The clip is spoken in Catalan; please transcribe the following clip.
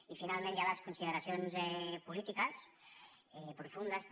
i finalment hi ha les consideracions polítiques profundes també